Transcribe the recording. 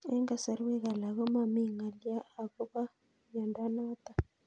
Eng'kasarwek alak ko mami ng'alyo akopo miondo notok